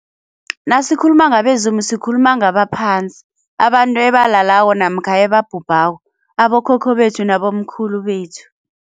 Nasikhuluma ngabezimu sikhuluma ngabaphansi abantu ebalalako namkha ebabhubhako abokhokho bethu nabomkhulu bethu.